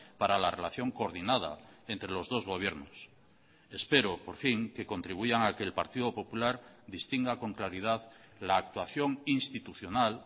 para la relación coordinada entre los dos gobiernos espero por fin que contribuyan a que el partido popular distinga con claridad la actuación institucional